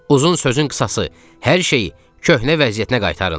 Uzun sözün qısası, hər şeyi köhnə vəziyyətinə qaytarın.